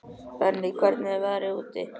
Benney, hvernig er veðrið úti?